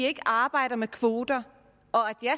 ikke arbejder med kvoter